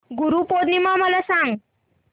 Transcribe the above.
गुरु पौर्णिमा मला सांग